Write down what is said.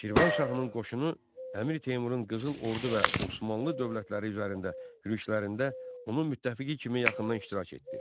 Şirvanşahın qoşunu Əmir Teymurun qızıl ordu və Osmanlı dövlətləri üzərində yürüşlərində onun müttəfiqi kimi yaxından iştirak etdi.